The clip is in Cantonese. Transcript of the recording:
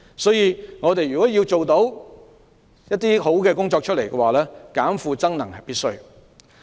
所以，如果我們要做好教育工作，"減負增能"是必要的。